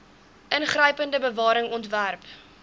ingrypende bewaring ontwerp